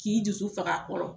K'i dusu fag'a kɔrɔ.